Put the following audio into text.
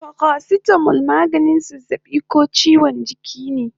Paracetamol maganin zazzabi ko chiwon jiki